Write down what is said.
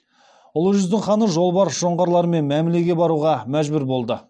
ұлы жүздің ханы жолбарыс жоңғарлармен мәмлеге баруға мәжбүр болды